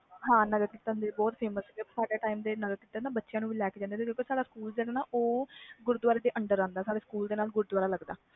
ਹਾਂ ਨਗਰਕੀਰਤਨ ਨਿਕਲ ਦੇ ਸੀ ਸਾਡੇ ਸਕੂਲ ਦੇ ਬਚੇ ਵੀ ਹਿੱਸਾ ਲੈਂਦੇ ਸੀ ਕਿਉਕਿ ਸਦਾ ਸਕੂਲ ਗੁਰੁਦਵਾਰੇ ਤੇ ਅੰਦਰ ਆਂਦਾ ਸੀ ਮਤਲਬ ਸਕੂਲ ਕੋਲ ਗੁਰੂਦਵਾਰਾ ਸੀ